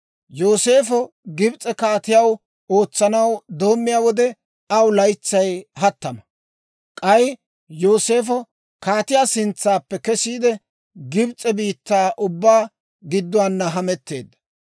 Yooseefo Gibs'e kaatiyaw ootsanaw doommiyaa wode, aw laytsay hattama. K'ay Yooseefo kaatiyaa sintsappe kesiide, Gibs'e biittaa ubbaa gidduwaa hametteedda.